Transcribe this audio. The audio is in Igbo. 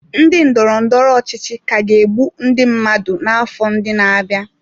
Ndị ndọrọ ndọrọ ọchịchị ka ga-egbu ndị mmadụ n'afọ ndị na-abịa.